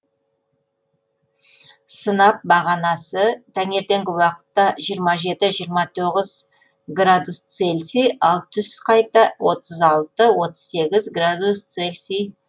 сынап бағанасы таңертеңгі уақытта жиырма жеті жиырма тоғыз градус цельсий ал түс қайта отыз алты отыз сегіз градус цельсий